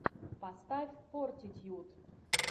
поставь фортитьюд